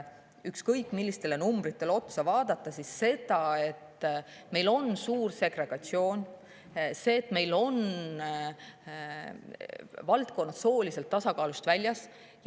Ükskõik millistele numbritele otsa vaadates, et meil on suur segregatsioon, et meil on valdkonnad sooliselt tasakaalust väljas.